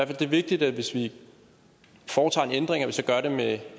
det er vigtigt at vi hvis vi foretager en ændring så gør det med